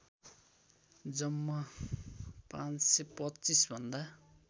जम्मा ५२५ भन्दा